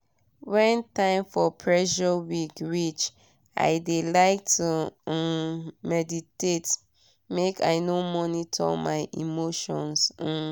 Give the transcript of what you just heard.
when time for pressure week reach i de like to um meditate make i monitor my emotions. um